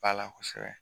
Ba la kosɛbɛ